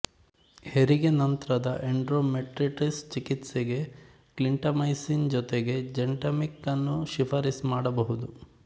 ಹೆರಿಗೆ ನಂತರದ ಎಂಡೊಮೆಟ್ರಿಟಿಸ್ ಚಿಕಿತ್ಸೆಗೆ ಕ್ಲಿಂಟಮೈಸಿನ್ ಜೊತೆಗೆ ಜೆಂಟಾಮಿಕ್ ನ್ನು ಶಿಫ಼ಾರಸು ಮಾಡಬಹುದು